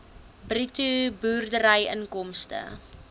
bruto boerderyinkomste